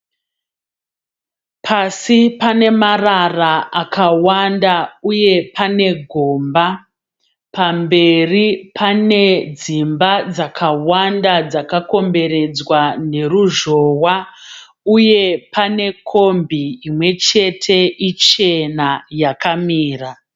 Pasi pane marara akawanda uye pane gomba. Pamberi pane dzimba dzakawanda dzakakomberedzwa neruzhowa uye pane kombi imwe chete ichena yakamira.